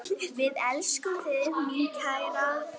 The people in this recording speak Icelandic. Við elskum þig, mín kæra.